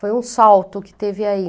Foi um salto que teve aí.